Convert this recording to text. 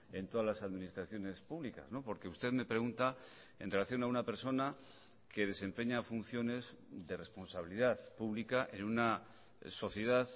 en todas las administraciones públicas porque usted me pregunta en relación a una persona que desempeña funciones de responsabilidad pública en una sociedad